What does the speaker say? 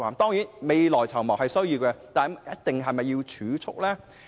當然，未雨綢繆是需要的，但是否一定要透過儲蓄呢？